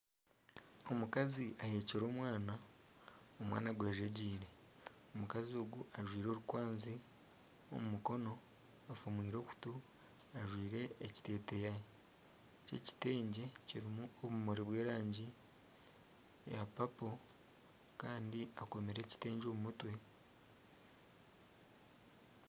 Omukazi ahekire omwana, omwana agwejegyeire, omukazi ogu ajwaire orukwanzi omu mukono afumwire okutu ajwaire ekiteteya ky'ekitengye kirimu obumuri bw'erangi ya papo kandi akomire ekitengye omu mutwe